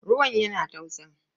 Ruwan yana tausa.